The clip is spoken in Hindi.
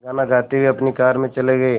गाना गाते हुए अपनी कार में चले गए